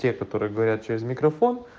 те которые говорят через микрофон